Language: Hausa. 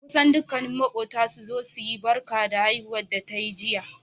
kusan dukkani makota suzo suyi Barka haihuwa da tayi jiya